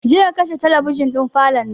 Je ka kashe talabijin ɗin falon nan!